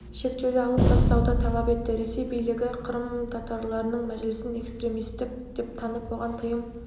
шектеуді алып тастауды талап етті ресей билігі қырым татарларының мәжілісін экстремистік деп танып оған тыйым